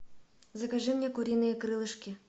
закажи мне куриные крылышки